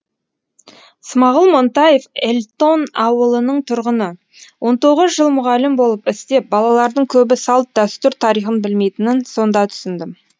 смағұл монтаев эльтон ауылының тұрғыны он тоғыз жыл мұғалім болып істеп балалардың көбі салт дәстүр тарихын білмейтінін сонда түсіндім